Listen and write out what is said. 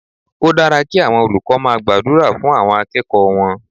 Ó dára kí àwọn olùkọ́ máa gbàdúrà fún àwọn akẹ́kọ̀ọ́ wọn.